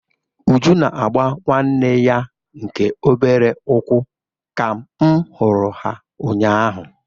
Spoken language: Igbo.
Uju na-agba nwanne ya nke obere ụkwụ ka m hụrụ ha ụnyaahụ.